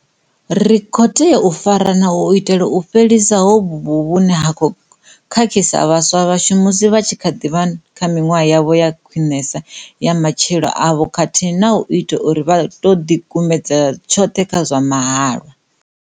Ri khou tea u farana u itela u fhelisa hovhu vhuvhi vhune ha khou khakhisa vhaswa vhashu musi vha tshi kha ḓi vha kha miṅwaha yavho ya khwinesa ya matshilo avho khathihi na u ita uri vha tou ḓikumedzela tshoṱhe kha zwa mahalwa.